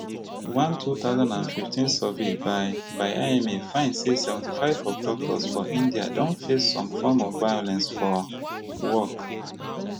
one two thousand and fifteen survey by by ima find say seventy-five of doctors for india don face some form of violence for work